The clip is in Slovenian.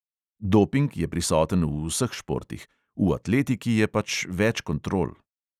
Doping je prisoten v vseh športih, v atletiki je pač več kontrol.